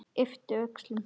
Yppti öxlum.